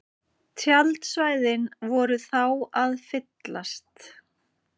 Tjaldsvæðin voru þá að fyllast